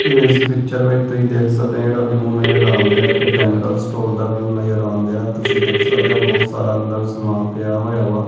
is picture ਵਿਚ ਤੁਸੀਂ ਦੇਖ ਸਕਦੇ ਹੋ ਜਿਹੜਾ ਵਿਊ ਨਜਰ ਆਂਦਾ ਇੱਕ ਜਨਰਲ ਸਟੋਰ ਦਾ ਵਿਊ ਨਜ਼ਰ ਆਉਂਦਾ ਤੁਸੀਂ ਦੇਖ ਸਕਦੇ ਹੋ ਬਹੁਤ ਸਾਰਾ ਅੰਦਰ ਸਮਾਨ ਪਿਆ ਹੋਇਆ ਵਾ--